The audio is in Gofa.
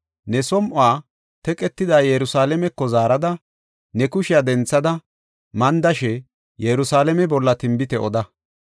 Ne som7uwa teqetida Yerusalaameko zaarada, ne kushiya denthada mandashe, Yerusalaame bolla tinbite oda.